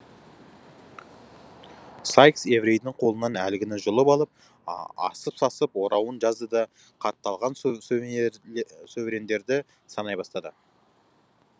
сайкс еврейдің қолынан әлгіні жұлып алып асып сасып орауын жазды да қатталған соверендерді санай бастады